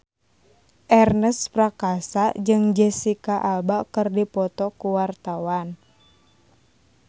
Ernest Prakasa jeung Jesicca Alba keur dipoto ku wartawan